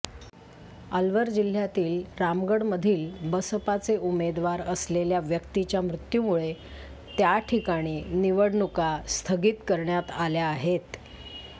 अलवर जिल्ह्यातील रामगढमधील बसपाचे उमेदवार असलेल्या व्यक्तीच्या मृत्यूमुळे त्या ठिकामी निवडणुका स्थगित करण्यात आल्या आहेत